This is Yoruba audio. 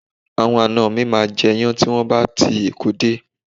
Àwọn ana mi máa jẹ iyán tí wọn bá ti Èkó dé